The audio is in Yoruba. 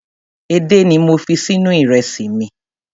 Edé ni mo fi sínú ìrẹsì mi.